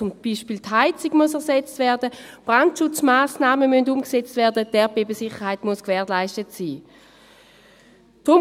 Zum Beispiel muss die Heizung ersetzt werden, Brandschutzmassnahmen müssen umgesetzt werden, die Erdbebensicherheit muss gewährleistet sein.